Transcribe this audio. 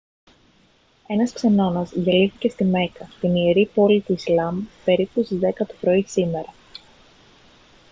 ένας ξενώνας διαλύθηκε στη μέκκα την ιερή πόλη του ισλάμ περίπου στις 10 το πρωί σήμερα